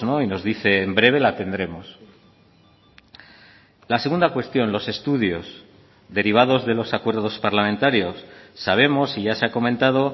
y nos dice en breve la tendremos la segunda cuestión los estudios derivados de los acuerdos parlamentarios sabemos y ya se ha comentado